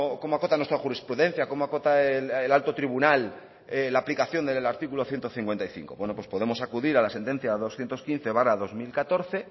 cómo acota nuestra jurisprudencia cómo acota el alto tribunal la aplicación del artículo ciento cincuenta y cinco bueno pues podemos acudir a la sentencia doscientos quince barra dos mil catorce